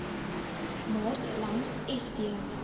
maart langs st